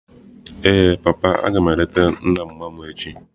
Ee papa, aga m eleta nna mma mu echi.